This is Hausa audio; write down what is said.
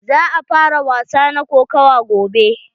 Za a fara wasa na kokawa gobe.